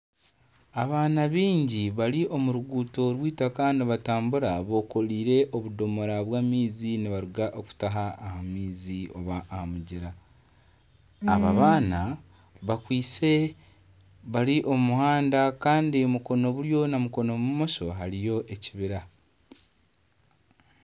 Abaana baingi bari omu ruguuto rw'itaka nibatambura bekoreire obudomora bw'amaizi nibaruga okutaha amaizi oba aha mugyera aba abaana bakwitse bari omu muhanda kandi mukono buryo na mukono bumosho hariyo ekibira